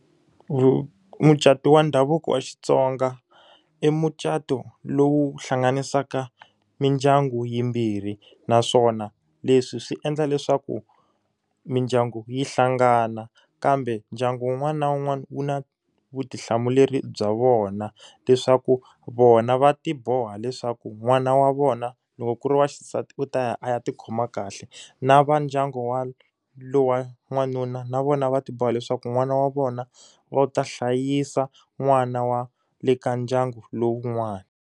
Mucato wa ndhavuko wa Xitsonga, i mucato lowu hlanganisaka mindyangu yimbirhi. Naswona leswi swi endla leswaku mindyangu yi hlangana, kambe ndyangu wun'wana na wun'wana wu na vutihlamuleri bya vona. Leswaku vona va ti boha leswaku n'wana wa vona loko ku ri wa xisati u ta ya a ya ti khoma kahle, na va ndyangu wa lowa n'wanuna na vona va ti boha leswaku n'wana wa vona va u ta hlayisa n'wana wa le ka ndyangu lowun'wani.